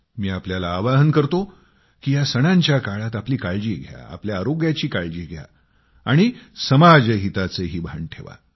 मी आपल्याला आवाहन करतो की या सणांच्या काळात आपली काळजी घ्या आपल्या आरोग्याची काळजी घ्या आणि समाजहिताचेही भान ठेवा